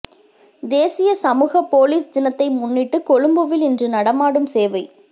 தேசிய சமூக பொலிஸ் தினத்தினை முன்னிட்டு கொழும்பில் இன்று நடமாடும் சேவை